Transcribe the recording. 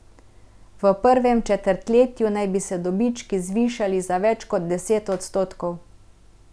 V prvem četrtletju naj bi se dobički zvišali za več kot deset odstotkov.